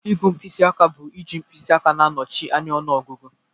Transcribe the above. Ịgụ mkpịsị aka bu iji mkpịsị aka na-anọchi anya ọnụọgụgụ.